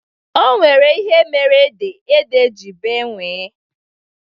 Onwere ihe mere ede, ede ji bee nwie